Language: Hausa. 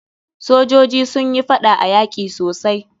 Sojoji sun yi faɗa a yaki sosai.